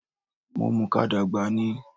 Mo mùka dàgbà ni